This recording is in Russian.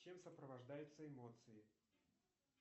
чем сопровождаются эмоции